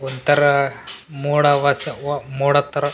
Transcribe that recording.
ಒಂದ್ ತರ ಮೋಡ ವಾಸವ್ ಮೋಡದ್ ಥರ --